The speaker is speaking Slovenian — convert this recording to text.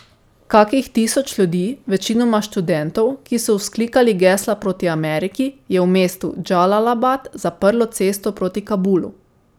Kakih tisoč ljudi, večinoma študentov, ki so vzklikali gesla proti Ameriki, je v mestu Džalalabad zaprlo cesto proti Kabulu.